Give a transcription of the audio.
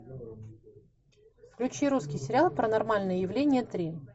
включи русский сериал паранормальные явления три